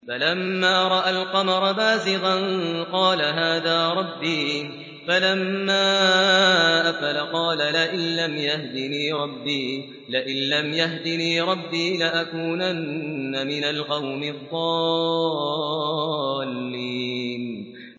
فَلَمَّا رَأَى الْقَمَرَ بَازِغًا قَالَ هَٰذَا رَبِّي ۖ فَلَمَّا أَفَلَ قَالَ لَئِن لَّمْ يَهْدِنِي رَبِّي لَأَكُونَنَّ مِنَ الْقَوْمِ الضَّالِّينَ